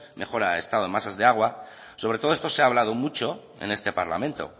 mejora del estado de masas de agua sobre todo esto se ha hablado mucho en este parlamento